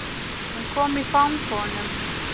Hún kom í fang honum.